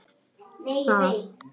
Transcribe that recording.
Þá barði Kata á dyrnar.